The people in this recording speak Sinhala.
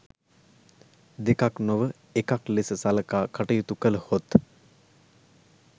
දෙකක් නොව එකක් ලෙස සලකා කටයුතු කළහොත්